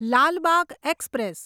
Lal Bagh express